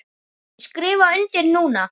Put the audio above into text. Ég skrifa undir núna.